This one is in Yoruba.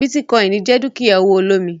Bitcoin jẹ dukia owo olomi.